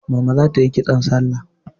Mama za ta yi kitson salla.